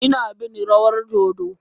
Ina bin rawar dodo.